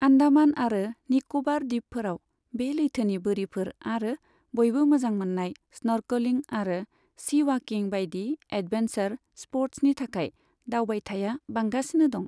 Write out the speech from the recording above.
आन्डामान आरो निक'बार दिपफोराव बे लैथोनि बोरिफोर आरो बयबो मोजां मोन्नाय स्नर्कलिं आरो सी वाकिं बायदि एडभेन्सार स्पर्ट्सनि थाखाय दावबायथाया बांगासिनो दं।